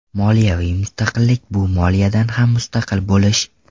Moliyaviy mustaqillik bu moliyadan ham mustaqil bo‘lish.